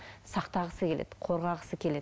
сақтағысы келеді қорғағысы келеді